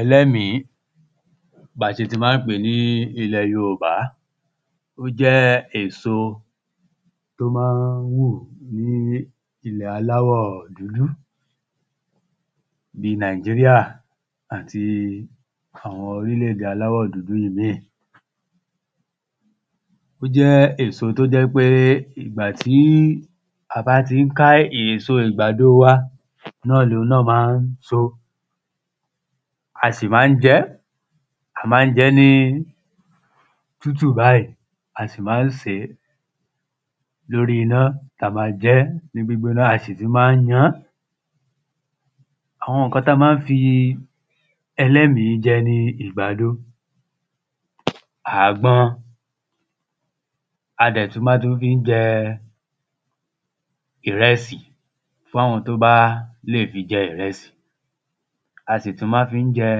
Ẹlẹ́mìí Bí a ṣe ti ma ń pè é ní ilẹ̀ Yorùbá Ó jẹ èsò tí ó ma ń hù ní ilẹ̀ aláwọ̀ dúdú Bíi Nigeria àti àwọn órílẹ̀ èdè aláwọ̀ dúdú ìmíì Ó jẹ́ èso tí ó jẹ́ ń pé ìgbà tí a bá ti ń ká èso àgbàdo wa náà ni òun náà ma ń so A sì ma ń jẹ ẹ́ A ma ń jẹ́ ní tútù báyì A sì ma ń sè é lóri iná ti a ma jẹ ẹ́ ní gbígbóná a sì tún ma ń yan án Àwọn nǹkan tí a ma ń fi ẹlẹ́mìí jẹ ni àgbàdo Àgbọn À dẹ̀ tún ma tú fi ń jẹ ìrẹsì fún àwọn tí ó bá lè fi jẹ ìrẹsì A sì tún ma ń fi jẹ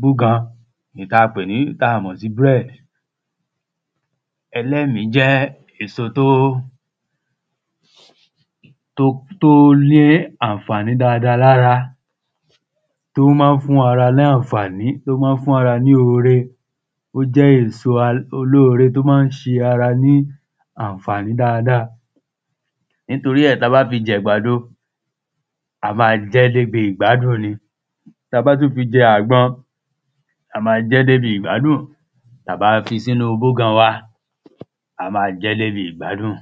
búgan èyí tí a pè ní tí a mọ̀ sí bread Ẹlẹ́mìí jẹ́ èso tí ó tí ó ní àǹfàní dáadáa lára Tí ó ma ń fún ara ní àǹfàní tí ó ma ń fún ara ní ore Ó jẹ́ èso olóore tí ó ma ń ṣe ara ní àǹfàní dáadáa Nítorí ẹ̀ tí a bá fi ń jẹ àgbàdo a máa jẹ ẹ́ dé ibi ìgbádùn ni Tí a bá tún fi jẹ àgbọn a máa jẹ́ dé ibi ìgbádùn Tí a bá fi sínú búgan wa a ma jẹ́ dé ibi ìgbádùn